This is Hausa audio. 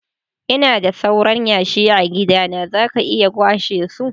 lna da sauran yashi a'gidana, za ka iya kwashe su.